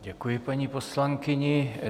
Děkuji paní poslankyni.